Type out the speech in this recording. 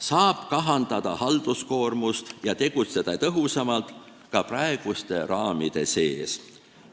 Saab kahandada halduskoormust ja tegutseda tõhusamalt ka praeguste raamide sees.